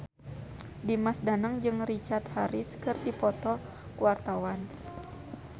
Dimas Danang jeung Richard Harris keur dipoto ku wartawan